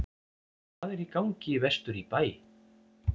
Hvað er í gangi vestur í bæ?